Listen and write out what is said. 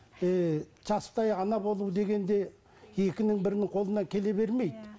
еее жастай ана болу деген де екінің бірінің қолынан келе бермейді иә